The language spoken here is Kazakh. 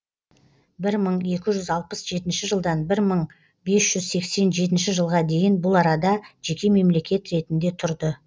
бір мың екі жүз алпыс жетінші жылдан бір мың бес жүз сексен жетінші жылға дейін бұл арада жеке мемлекет ретінде тұрды